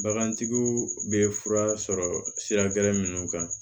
Bagantigiw bɛ fura sɔrɔ sira gɛrɛ minnu kan